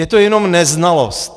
Je to jenom neznalost.